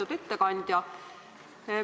Lugupeetud ettekandja!